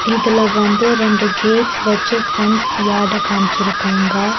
இதுல வந்து ரெண்டு கேட்ஸ் வச்சு ஃபென்ஸ் யாட காம்சிருக்காங்க.